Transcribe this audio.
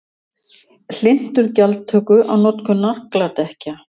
Hlynntur gjaldtöku á notkun nagladekkja